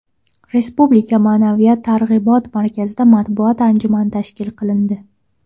Respublika Ma’naviyat targ‘ibot markazida matbuot anjumani tashkil qilindi.